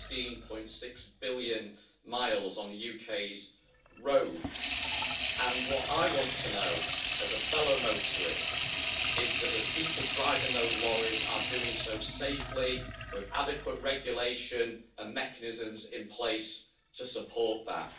16.6 billion miles on the UK's roads and what I want to know as a fellow motorist is that the people driving those lorries are doing so safely, with adequate regulations and mechanisms in place to support that.